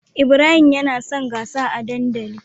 Ibrahim yansa gasa a dandali